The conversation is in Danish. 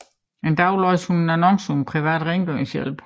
En dag læser hun en annonce om privat rengøringshjælp